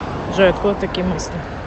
джой откуда такие мысли